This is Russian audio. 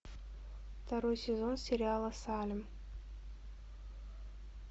второй сезон сериала салем